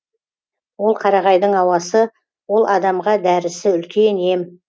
ол қарағайдың ауасы ол адамға дәрісі үлкен ем